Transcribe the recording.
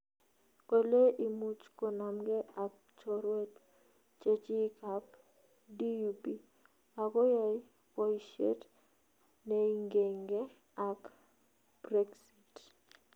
kale imuche konamgee ak �chorweet� chechig ap DUP �akoyai paisiet� neingengee ak Brexit